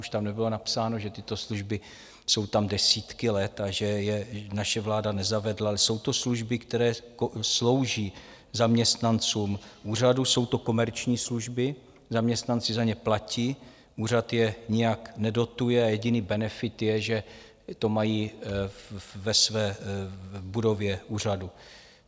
Už tam nebylo napsáno, že tyto služby jsou tam desítky let a že je naše vláda nezavedla, ale jsou to služby, které slouží zaměstnancům úřadu, jsou to komerční služby, zaměstnanci za ně platí, úřad je nijak nedotuje a jediný benefit je, že to mají ve své budově úřadu.